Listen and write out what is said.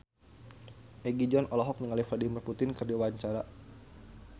Egi John olohok ningali Vladimir Putin keur diwawancara